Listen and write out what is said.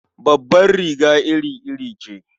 Babbar riga iri-iri ce.